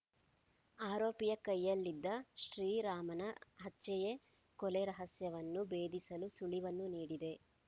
ಆರೋಪಿಯ ಕೈಯಲ್ಲಿದ್ದ ಶ್ರೀರಾಮನ ಹಚ್ಚೆಯೇ ಕೊಲೆ ರಹಸ್ಯವನ್ನು ಭೇದಿಸಲು ಸುಳಿವನ್ನು ನೀಡಿದೆ